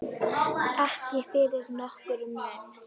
Ekki fyrir nokkurn mun.